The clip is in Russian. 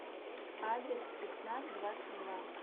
адрес спецназ двадцать два